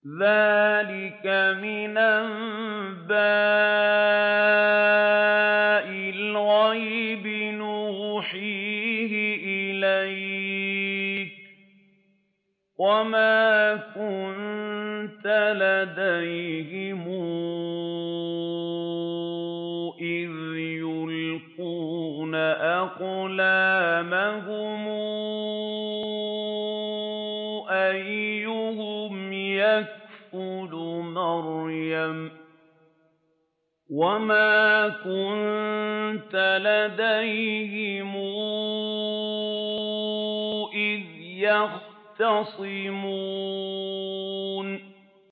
ذَٰلِكَ مِنْ أَنبَاءِ الْغَيْبِ نُوحِيهِ إِلَيْكَ ۚ وَمَا كُنتَ لَدَيْهِمْ إِذْ يُلْقُونَ أَقْلَامَهُمْ أَيُّهُمْ يَكْفُلُ مَرْيَمَ وَمَا كُنتَ لَدَيْهِمْ إِذْ يَخْتَصِمُونَ